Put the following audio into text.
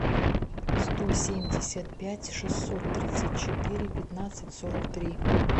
сто семьдесят пять шестьсот тридцать четыре пятнадцать сорок три